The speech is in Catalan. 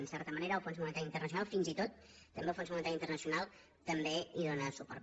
en certa manera el fons monetari internacional fins i tot també el fons monetari internacional també hi dóna suport